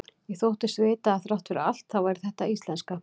Ég þóttist vita að þrátt fyrir allt þá væri þetta íslenska.